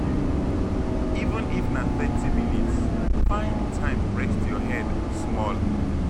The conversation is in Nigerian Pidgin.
Even if na thirty minutes, find time rest your head small.